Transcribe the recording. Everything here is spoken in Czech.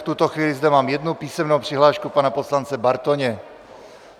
V tuto chvíli zde mám jednu písemnou přihlášku pana poslance Bartoně.